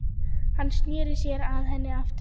Hann sneri sér að henni aftur.